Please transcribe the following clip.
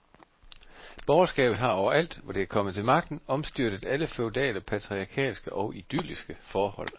Borgerskabet har overalt, hvor det er kommet til magten, omstyrtet alle feudale, patriarkalske og idylliske forhold.